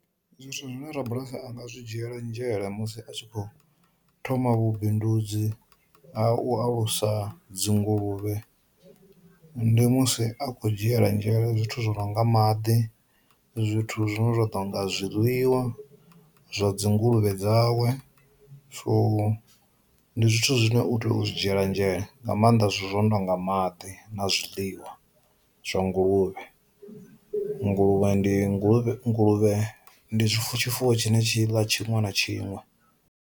Zwithu zwine ra bulasi anga zwi dzhiela nzhele musi a tshi khou thoma vhubindudzi a u alusa dzi nguluvhe, ndi musi a kho dzhiela nzhele zwithu zwo no nga maḓi, zwithu zwine zwa ḓo nga zwiḽiwa zwa dzi nguluvhe dzawe, so ndi zwithu zwine u tea u zwi dzhiela nzhele nga maanḓa zwithu zwo no tonga maḓi na zwiḽiwa zwa nguluvhe. Nguluvhe ndi nguluvhe nguluvhe ndi tshi fuwo tshine tshi ḽa tshiṅwe na tshiṅwe.